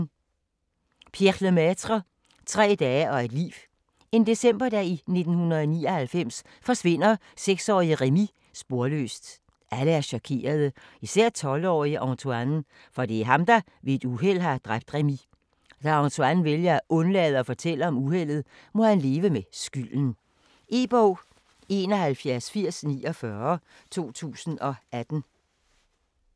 Lemaitre, Pierre: Tre dage og et liv En decemberdag i 1999 forsvinder seksårige Rémi sporløst. Alle er chokerede, især 12-årige Antoine, for det er ham der ved et uheld har dræbt Rémi. Da Antoine vælger at undlade at fortælle om uheldet, må han leve med skylden. E-bog 718049 2018.